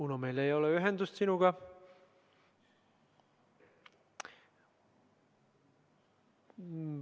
Uno, meil ei ole ühendust sinuga.